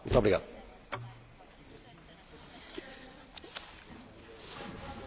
Önnek sok mindenre van lehetősége, csak az ülésvezetés bírálatára nem!